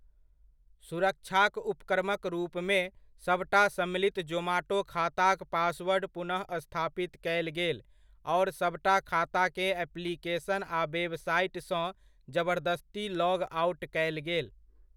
सुरक्षाक उपक्रमक रूपमे, सभटा सम्मिलित जोमाटो खाताक पासवर्ड पुनः स्थापित कयल गेल आओर सभटा खाताकेँ एप्लिकेशन आ वेबसाइट सँ जबरदस्ती लॉग आउट कयल गेल।